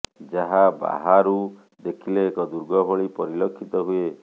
ଯାହା ବାହାରୁ ଦେଖିଲେ ଏକ ଦୁର୍ଗ ଭଳି ପରିଲକ୍ଷିତ ହୁଏ